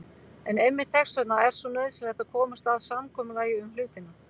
En einmitt þess vegna er svo nauðsynlegt að komast að samkomulagi um hlutina.